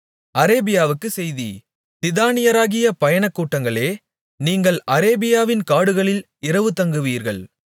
அரேபியாவுக்குச் செய்தி திதானியராகிய பயணக்கூட்டங்களே நீங்கள் அரேபியாவின் காடுகளில் இரவுதங்குவீர்கள்